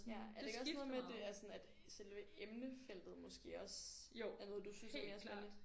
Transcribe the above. Ja er det ikke også noget med det er sådan at selve emnefeltet måske også er noget du synes er mere spændende